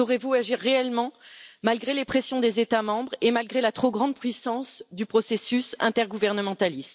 Pourrez vous réellement agir malgré les pressions des États membres et malgré la trop grande puissance du processus intergouvernemental?